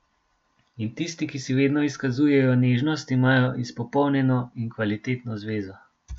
In tisti, ki si vedno izkazujejo nežnost, imajo izpopolnjeno in kvalitetno zvezo.